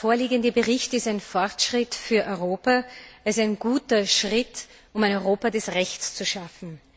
Der vorliegende Bericht ist ein Fortschritt für Europa. Er ist ein guter Schritt, um ein Europa des Rechts zu schaffen.